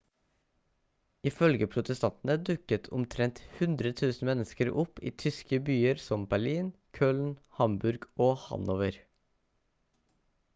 ifølge protestantene dukket omtrent 100 000 mennesker opp i tyske byer som berlin køln hamburg og hanover